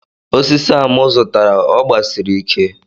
Osisi a mu zutata ogbasiri ike